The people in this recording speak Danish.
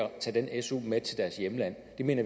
at tage den su med til deres hjemland det mener